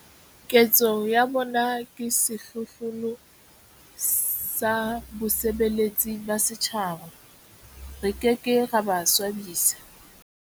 Ketso ya bona ke sehlohlolo sa bosebeletsi ba setjhaba. Re ke ke ra ba swabisa.